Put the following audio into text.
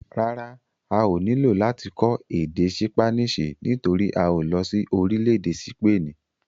Rárá, a ò nílò láti kọ́ èdè ṣípánísì nítorí a ò lọ sí orílẹ̀-èdè sípènì.